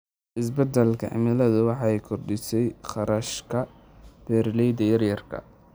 Isbeddelka cimiladu waxay kordhisay kharashka beeralayda yar yar.